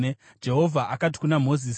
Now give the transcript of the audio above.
Jehovha akati kuna Mozisi,